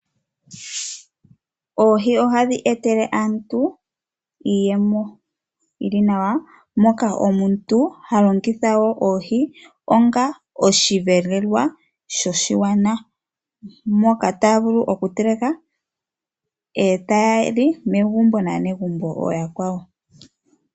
Oohi ohadhi etele aantu iiyemo yi li nawa, moka omuntu ha longitha oohi onga osheelelwa shoshigwana, mpoka taya vulu okuteleka, e taya li megumbo naanegumbo ooyakwawo.